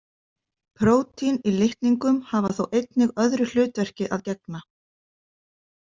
Prótín í litningum hafa þó einnig öðru hlutverki að gegna.